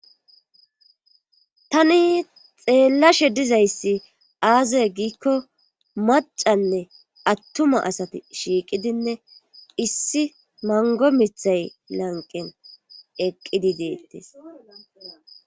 Tani xeellashe dizayssi aazee giikko macanne attuma asati shiiqidinne issi mango mithay lanqen eqqidi deettes.